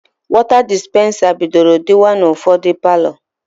Wọta dispensa bidoro dịba n'ụfọdụ palọ.